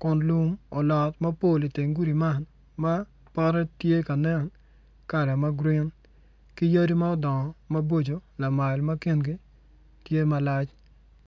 kun lum olot mapol iteng gudi man ma pote tye ka nen kala ma grin ki yadi ma odongo maboco lamal ma kingi tye malac.